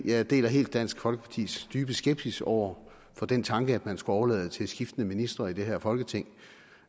jeg deler helt dansk folkepartis dybe skepsis over for den tanke at man skulle overlade det til skiftende ministre i det her folketing